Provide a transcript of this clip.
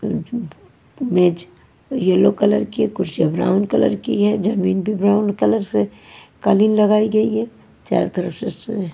मेज yellow colour की कुर्सिया ब्राउन कलर की है जमीन ब्राउन कलर से कलीन लगाएंगे चारो तरफ़ से --